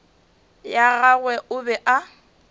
ya gagwe o be a